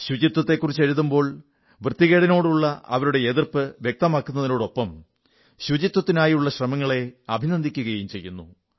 ശുചിത്വത്തെക്കുറിച്ച് എഴുതുമ്പോൾ വൃത്തികേടിനോടുള്ള അവരുടെ എതിർപ്പ് വ്യക്തമാക്കുന്നതിനൊപ്പം ശുചിത്വത്തിനായുള്ള ശ്രമങ്ങളെ അഭിനന്ദിക്കുകയും ചെയ്യുന്നു